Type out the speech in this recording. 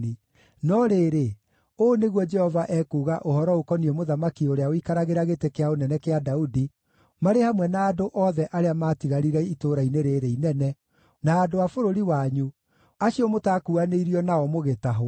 no rĩrĩ, ũũ nĩguo Jehova ekuuga ũhoro ũkoniĩ mũthamaki ũrĩa ũikaragĩra gĩtĩ kĩa ũnene kĩa Daudi, marĩ hamwe na andũ othe arĩa maatigarire itũũra-inĩ rĩĩrĩ inene, na andũ a bũrũri wanyu, acio mũtaakuuanĩirio nao mũgĩtahwo: